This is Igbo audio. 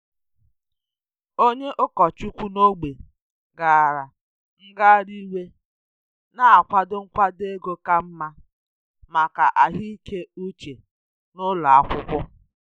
Onye ụkọchukwu n’ógbè gara ngagharị iwe na-akwado nkwado ego ka mma maka ahụike uche n’ụlọ akwụkwọ.